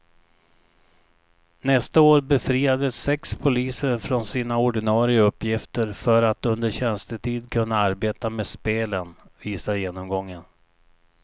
Nästa år befriades sex poliser från sina ordinarie uppgifter för att under tjänstetid kunna arbeta med spelen, visar genomgången.